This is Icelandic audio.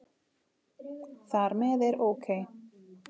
Þar með er OK!